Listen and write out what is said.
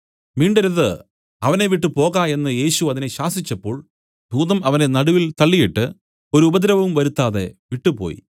മിണ്ടരുത് അവനെ വിട്ടുപോക എന്നു യേശു അതിനെ ശാസിച്ചപ്പോൾ ഭൂതം അവനെ നടുവിൽ തള്ളിയിട്ട് ഒരു ഉപദ്രവവും വരുത്താതെ വിട്ടുപോയി